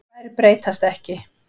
Þær breytast ekki.